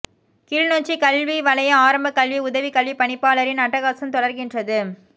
கிளிநொச்சி கல்வி வலய ஆரம்பக்கல்வி உதவிக் கல்விப் பணிப்பாளரின் அட்டகாசம் தொடர்கின்றது